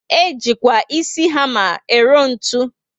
Ejikwa ísì hama ero ntụ